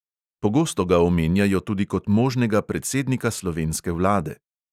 Pogosto ga omenjajo tudi kot možnega predsednika slovenske vlade.